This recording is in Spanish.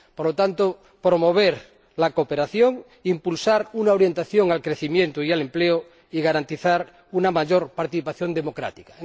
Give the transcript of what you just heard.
Por lo tanto, promover la cooperación, impulsar una orientación al crecimiento y al empleo y garantizar una mayor participación democrática.